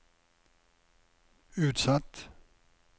utsatt